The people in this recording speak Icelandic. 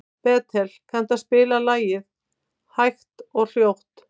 Bertel, kanntu að spila lagið „Hægt og hljótt“?